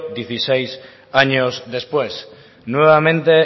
dieciséis años después nuevamente